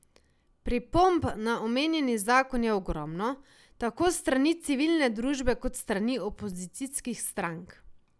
Pripomb na omenjeni zakon je ogromno, tako s strani civilne družbe kot s strani opozicijskih strank.